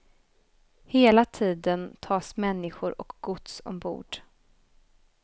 Hela tiden tas människor och gods ombord.